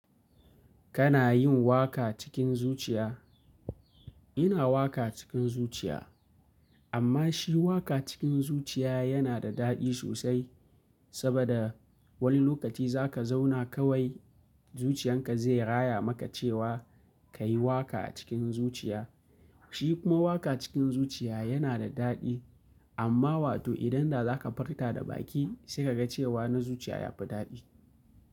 Kana yin waka cikin zuciya? Ina waka cikin zuciya, amma shi waka cikin zuciya yana da daɗi sosai saboda wani lokaci za ka zauna kawai zuciyan ka zai raya maka cewa ka yi waka a cikin zuciya. Shi kuma waka cikin zuciya yana da daɗi amma wato idan da za ka furta da baki sai ka ga cewa na zuciya ya fi daɗi.